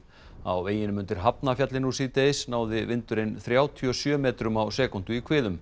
á veginum undir Hafnarfjalli nú síðdegis náði vindurinn þrjátíu og sjö metrum á sekúndu í